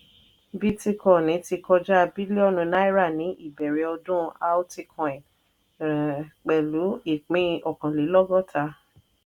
bítíkọnì ti kọjá bílíọ̀nù náírà ní ìbẹrẹ̀ ọdún alticoin pẹ̀lú ìpín ọkànlélọ́gọ́ta.